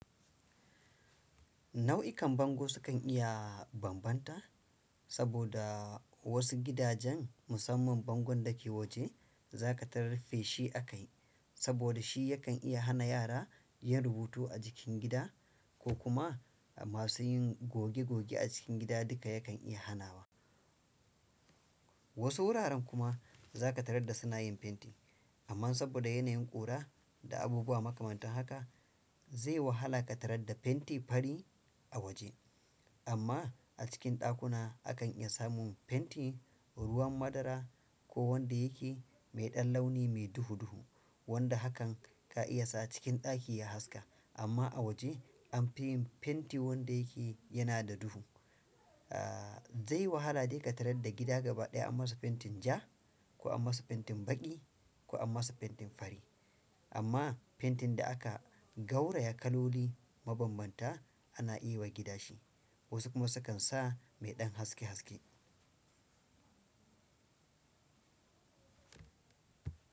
Nau'ikan bango sukan iya bambanta saboda wasu gidajen musamman bango da ke waje za ka tararfe shi a kayi saboda shi yakan iya hana yara yin rubutu a jikin gida ko kuma amma su yin goge goge a cikin gida duka yakan iya hanawa. Wasu wuraren kuma za ka tarar da suna yin fenti amma saboda yanayin ƙura da abubuwa makamantan haka. Zai wahala ka tarar da fenti fari a waje amma acikin dakuna akan iya samu fenti ruwan madara ko wanda yake mai ɗan launi mai duhu duhu wanda hakan ka iya sa cikin ɗaki ya haska amma a waje anfi yin fenti wanda yake yana da duhu. Eh zai wahala dai ka tarar da gida gaba ɗaya an masa fentin ja ko an masa fentin baƙi ko an masa fentin fari amma fentin da aka gauraya kaloli mabambanta ana yi wa gida shi wasu kuma sukan sa mai ɗan haske haske.